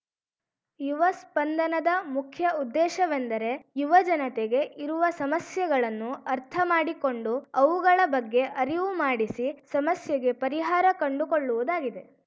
ಯುವ ಸ್ಪಂದನದ ಮುಖ್ಯ ಉದ್ದೇಶವೆಂದರೆ ಯುವಜನತೆಗೆ ಇರುವ ಸಮಸ್ಯೆಗಳನ್ನು ಅರ್ಥಮಾಡಿಕೊಂಡು ಅವುಗಳ ಬಗ್ಗೆ ಅರಿವು ಮಾಡಿಸಿ ಸಮಸ್ಯೆಗೆ ಪರಿಹಾರ ಕಂಡು ಕೊಳ್ಳುವುದಾಗಿದೆ